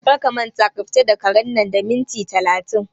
Kar ka manta ka fita da karen nan da minti talatin!